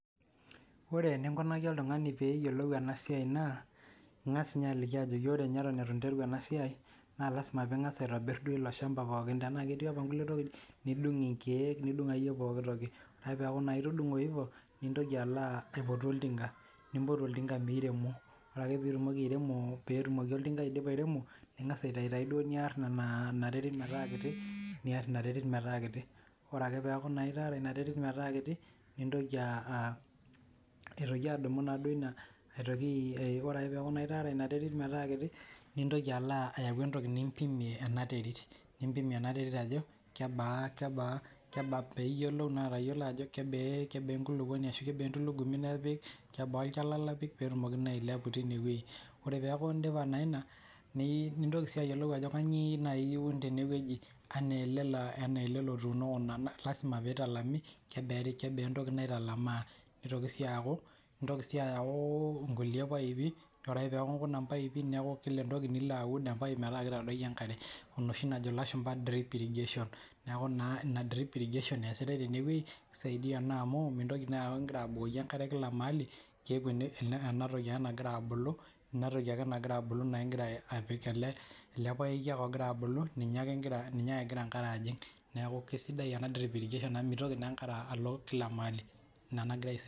Ore eninkunaki oltung'ani peeyiolou ena siaai naa ing'as ninye aliki ajoki ore ninye eton itu nteru ena siaai naa lasima piing'as aitobirr ele shamba pooki ore paa ketii tenaa ketii nkulietokitin naaijo nkeek nidung nidung akiyie pooki toki ore ake piidung ivo nintoki aipotu oltinga ore piirem oltinga ore pee idip oltinga airemo ningas aar ina terit metaa kiti ore piarr ina terit metaa kiti, nitoki ayau entoki nimpimie ena terit nimpim ena terit ajo kebaa, piiyiolou ajo kebaa entulugumi nipik, ore liindip ine wueji nintoki ayiolou ajo kainyio iun tine wueji, enaa ele lotuuno, niyiolou sii ajo kebaa ewueji nelami, niun sii ninche mpaipi te kila orkereri tenoshi najo ilashumba drip irrigation ore ena drip irrigation naa keisaidia amuu mintoki api enkare te kila maali, keeku ele paeki ake ejing enkare kila obo nimintoki alo kila orpaeki.